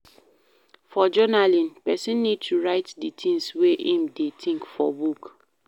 For journaling, person need to write di things wey im dey think for book